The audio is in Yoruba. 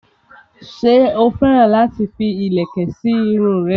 ṣé ó féràn láti fi ìlẹ̀kẹ̀ sí irun rẹ̀?